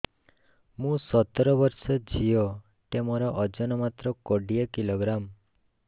ମୁଁ ସତର ବର୍ଷ ଝିଅ ଟେ ମୋର ଓଜନ ମାତ୍ର କୋଡ଼ିଏ କିଲୋଗ୍ରାମ